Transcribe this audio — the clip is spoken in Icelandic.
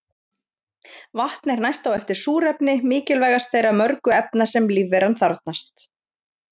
Vatn er næst á eftir súrefni mikilvægast þeirra mörgu efna sem lífveran þarfnast.